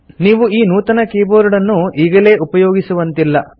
ನೀವು ಈ ನೂತನ ಕೀಬೋರ್ಡನ್ನು ಈಗಲೇ ಉಪಯೋಗಿಸುವಂತಿಲ್ಲ